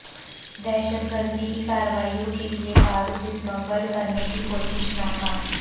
دہشت گردی کی کارروائیوں کے لئے بارود سمگل کرنے کی کوشش ناکام